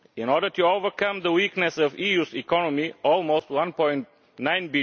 In order to overcome the weakness of the EU's economy almost EUR 1.9